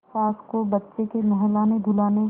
सास को बच्चे के नहलानेधुलाने